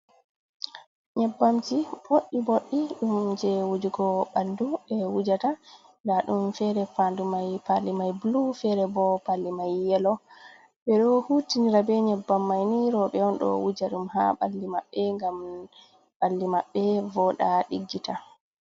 Nyebbamji boɗɗi boɗɗi ɗum je wujugo ɓandu ɓe wujata nda ɗum fere pandu mai palli mai bulu, fere bo palli mai yelo, ɓeɗo hutinira be nyebbam maini roɓe on ɗo wuja ɗum ha balli maɓɓe ngam ɓalli maɓɓe voɗa ɗiggita.